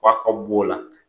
F'a ka b'o la.